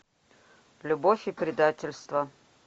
любовь и предательство